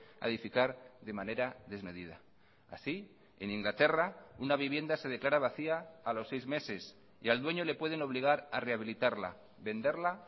a edificar de manera desmedida así en inglaterra una vivienda se declara vacía a los seis meses y al dueño le pueden obligar a rehabilitarla venderla